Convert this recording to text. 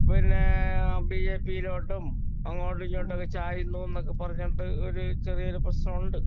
മാറി മാറി മാറി മാറി പിന്നെ ബിജെപിയിലോട്ടും അങ്ങോട്ടും ഇങ്ങോട്ടും ഒക്കെ ചായുന്നു എന്നൊക്കെ പറഞ്ഞോണ്ട് ഒരു ചെറിയൊരു പ്രശ്നം ഉണ്ട്